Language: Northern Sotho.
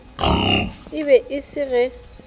e be e se ge